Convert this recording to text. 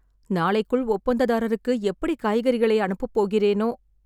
நாளைக்குள் ஒப்பந்ததாரருக்கு எப்படி காய்கறிகளை அனுப்ப போகிறேனோ...